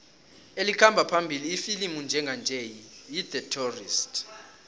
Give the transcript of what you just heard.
elikhamba phambili ifilimu njenganje yi the tourist